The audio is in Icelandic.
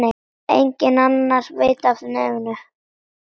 Enginn annar veit af nefinu.